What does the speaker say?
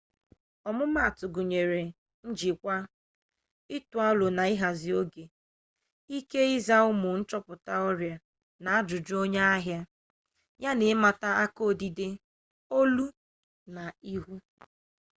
ọmumatụ gụnyere njikwa ịtụ arọ na ịhazi oge ike ịza ụmụ nchọpụta ọrịa na ajụjụ onye ahịa ya na ịmata aka odide olu na ihu